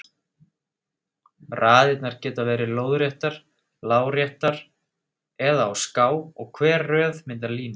Raðirnar geta verið lóðréttar, láréttar eða á ská og hver röð myndar línu.